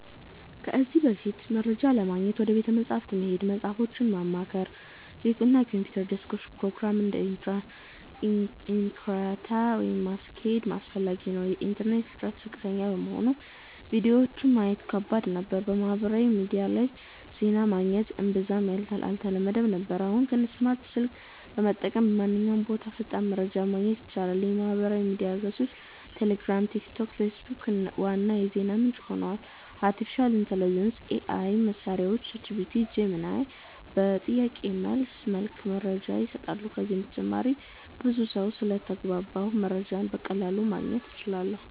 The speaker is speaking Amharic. ከዚህ በፊት፦ መረጃ ለማግኘት ወደ ቤተ መጻሕፍት መሄድ፣ መጽሃፎችን ማማከር፣ እና የኮምፒውተር ዴስክቶፕ ፕሮግራሞችን (እንደ Encarta) ማስኬድ አስፈላጊ ነበር። የኢንተርኔት ፍጥነት ዝቅተኛ በመሆኑ ቪዲዮዎችን ማየት ከባድ ነበር። በማህበራዊ ሚዲያ ላይ ዜና ማግኘት እምብዛም አልተለመደም ነበር። አሁን ግን፦ ስማርት ስልክ በመጠቀም በማንኛውም ቦታ ፈጣን መረጃ ማግኘት ይቻላል። የማህበራዊ ሚዲያ ገጾች (ቴሌግራም፣ ቲክቶክ፣ ፌስቡክ) ዋና የዜና ምንጭ ሆነዋል። አርቲፊሻል ኢንተሊጀንስ (AI) መሳሪያዎች (ChatGPT, Gemini) በጥያቄ መልስ መልክ መረጃ ይሰጣሉ። ከዚህ በተጨማሪም ብዙ ሰው ስለተግባባሁ መረጃን በቀላሉ ማግኘት እችላለሁ